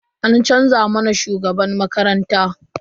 An canza mana shugaban makaranta.